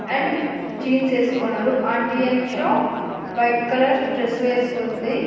and jeans ఏసుకున్నారు aunty and show white colour dress వేసుకుంది వెనక్--